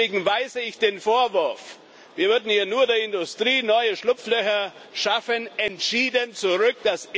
Deswegen weise ich den Vorwurf, wir würden hier nur der Industrie neue Schlupflöcher schaffen, entschieden zurück.